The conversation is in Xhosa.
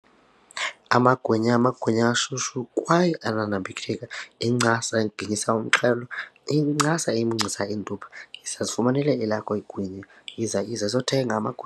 Amagwinya! Amagwinya ashushu kwaye ananambitheka incasa ingenisa umxhelo iyincasa emuncisa iintupha, yiza zifumanele elakho ingwinya. Yiza! Yiza, izothenga amagwinya.